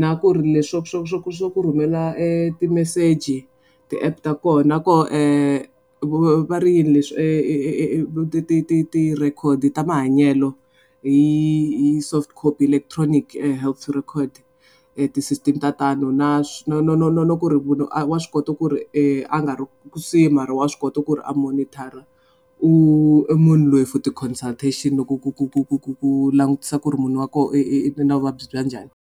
Na ku ri leswi swo ku swo ku swo ku rhumela timeseji ti-app ta koho. Na koho va ri yini leswi? Ti ti ti ti record-i ta mahanyelo hi hi soft copy electronic health record . Ti-system ta tano na na na na ku ri munhu wa swi kota ku ri a nga ri mara wa swi kota ku ri a monitor-a u munhu loyi for ti-consultation loko ku ku ku ku ku ku langutisa ku ri munhu wa koho i ve na vuvabyi bya njhani.